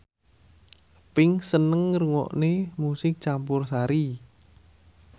Pink seneng ngrungokne musik campursari